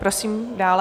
Prosím dále.